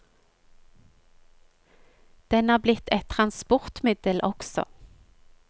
Den er blitt et transportmiddel også.